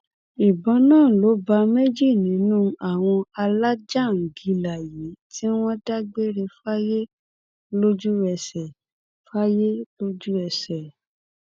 ìbọn náà ló bá méjì nínú àwọn alájàńgílà yìí tí wọn dágbére fáyé lójúẹsẹ fáyé lójúẹsẹ